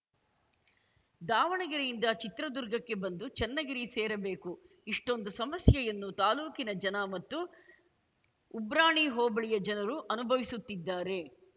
ದಾವಣಗೆರೆಯಿಂದ ಚಿತ್ರದುರ್ಗಕ್ಕೆ ಬಂದು ಚನ್ನಗಿರಿ ಸೇರಬೇಕು ಇಷ್ಟೊಂದು ಸಮಸ್ಯೆಯನ್ನು ತಾಲೂಕಿನ ಜನ ಮತ್ತು ಉಬ್ರಾಣಿ ಹೋಬಳಿಯ ಜನರು ಅನುಭವಿಸುತ್ತಿದ್ದಾರೆ